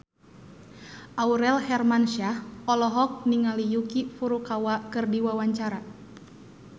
Aurel Hermansyah olohok ningali Yuki Furukawa keur diwawancara